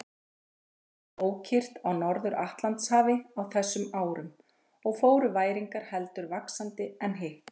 Heldur var ókyrrt á Norður-Atlantshafi á þessum árum og fóru væringar heldur vaxandi en hitt.